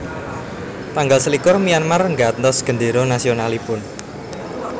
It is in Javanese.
Tanggal selikur Myanmar nggantos gendéra nasionalipun